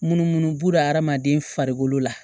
Munumunu b'u la adamaden farikolo la